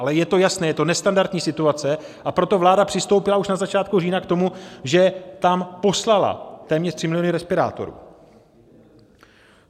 Ale je to jasné, je to nestandardní situace, a proto vláda přistoupila už na začátku října k tomu, že tam poslala téměř 3 miliony respirátorů.